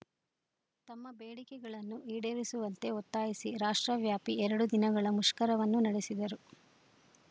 ತಮ್ಮ ಬೇಡಿಕೆಗಳನ್ನು ಈಡೇರಿಸುವಂತೆ ಒತ್ತಾಯಿಸಿ ರಾಷ್ಟ್ರವ್ಯಾಪಿ ಎರಡು ದಿನಗಳ ಮುಷ್ಕರವನ್ನು ನೆಡೆಸಿದರು